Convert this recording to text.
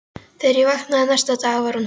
Þegar ég vaknaði næsta dag var hún horfin.